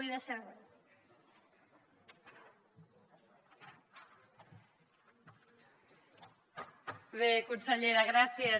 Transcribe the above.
bé consellera gràcies